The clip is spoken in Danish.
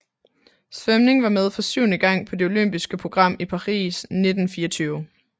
Svømning var med for syvende gang på det olympiske program i Paris 1924